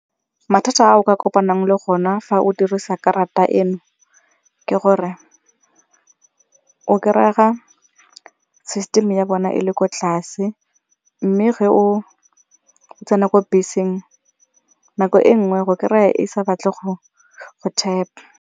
Mathata a o ka kopanang le gona fa o dirisa karata eno ke gore o kry-ega system ya bona e le ko tlase mme ge o tsena ko beseng nako e nngwe go kry-a e sa batle go tap-a.